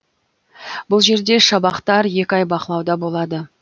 бұл жерде шабақтар екі ай бақылауда болады